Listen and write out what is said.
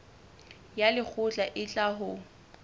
ya lekgotla e tla ho